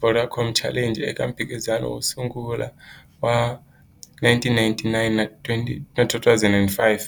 Vodacom Challenge eka mphikizano wo sungula wa 1999 na 2005.